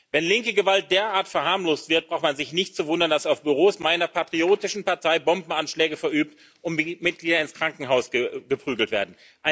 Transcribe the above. Wenn linke Gewalt derart verharmlost wird, braucht man sich nicht zu wundern, dass auf Büros meiner patriotischen Partei Bombenanschläge verübt und Mitglieder ins Krankenhaus geprügelt werden.